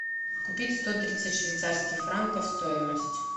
купить сто тридцать швейцарских франков стоимость